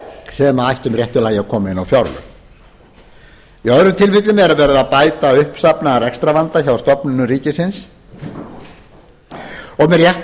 sem ættu með réttu lagi að koma inn á fjárlög í öðrum tilfellum er verið að bæta uppsafnaðan rekstrarvanda hjá stofnunum ríkisins og með réttu